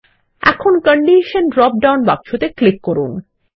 এখন condition drop down বাক্সতে click করুন